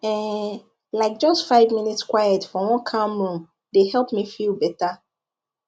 um like just five minutes quiet for one calm room dey help me feel better